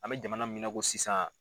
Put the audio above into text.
An bɛ jamana min na i ko sisan